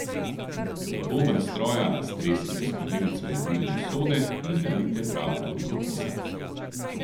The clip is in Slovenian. V boben stroja stresite skodelico jedilne sode in nalijte prav toliko kisa.